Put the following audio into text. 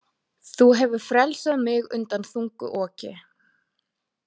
Þú hefur frelsað mig undan þungu oki.